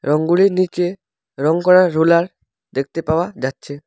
রংগুলির নীচে রং করার রোলার দেখতে পাওয়া যাচ্ছে।